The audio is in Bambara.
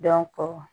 Dɔnko